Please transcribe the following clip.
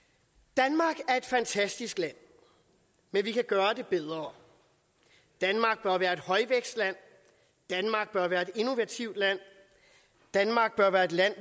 danmark er et fantastisk land men vi kan gøre det bedre danmark bør være et højvækstland danmark bør være et innovativt land danmark bør være et land